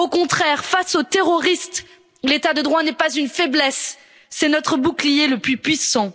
Au contraire, face aux terroristes, l'état de droit n'est pas une faiblesse, c'est notre bouclier le plus puissant.